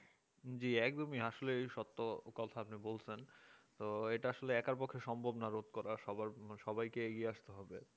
যে একদমই আসলে এই সত্য কথা আপনি বলছেন তো এটা আসলে একার পক্ষে সম্ভব না রোধ করা সবাই সবাইকেই এগিয়ে আসতে হবে